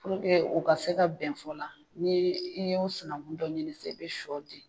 Purke u ka se ka bɛnfɔ la ni i ye o sunankun dɔ ɲini i bɛ sɔ di o ma.